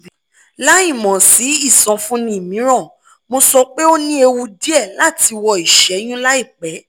láìmọ̀ sí ìsọfúnni mìíràn mo sọ pé o ní ewu díẹ̀ láti wọ ìṣẹ́yún láìpẹ́